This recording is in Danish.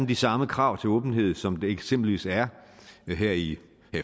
de samme krav til åbenhed som der eksempelvis er her i